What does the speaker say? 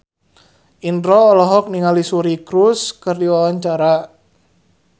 Indro olohok ningali Suri Cruise keur diwawancara